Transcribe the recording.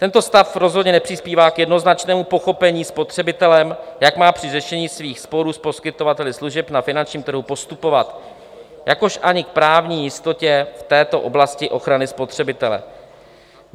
"Tento stav rozhodně nepřispívá k jednoznačnému pochopení spotřebitelem, jak má při řešení svých sporů s poskytovali služeb na finančním trhu postupovat, jakož ani k právní jistotě v této oblasti ochrany spotřebitele.